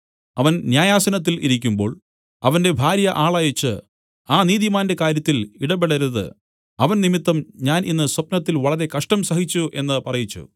അവൻ ന്യായാസനത്തിൽ ഇരിക്കുമ്പോൾ അവന്റെ ഭാര്യ ആളയച്ച് ആ നീതിമാന്റെ കാര്യത്തിൽ ഇടപെടരുത് അവൻ നിമിത്തം ഞാൻ ഇന്ന് സ്വപ്നത്തിൽ വളരെ കഷ്ടം സഹിച്ചു എന്നു പറയിച്ചു